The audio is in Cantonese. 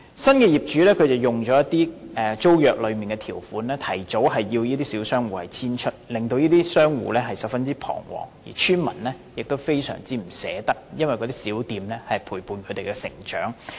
新業主運用租約內的條款，提早要求這些小商戶遷出，令商戶十分彷徨，而邨民也非常依依不捨，因為這些小店陪伴他們成長。